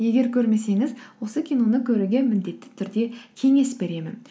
егер көрмесеңіз осы киноны көруге міндетті түрде кеңес беремін